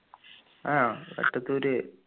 ആഹ് Vettathur